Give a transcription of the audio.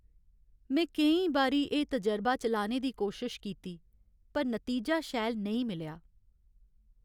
में केईं बारी एह् तजरबा चलाने दी कोशश कीती पर नतीजा शैल नेईं मिलेआ।